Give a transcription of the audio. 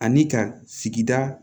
Ani ka sigida